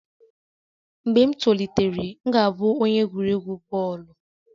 Mgbe m tolitere, m ga-abụ onye egwuregwu bọọlụ